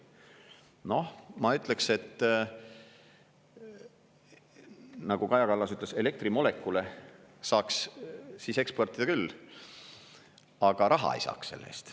Noh, ma ütleks, et nagu Kaja Kallas ütles: elektrimolekule saaks siis eksportida küll, aga raha ei saaks selle eest.